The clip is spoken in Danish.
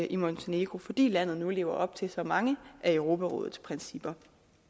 i montenegro fordi landet nu lever op til så mange af europarådets principper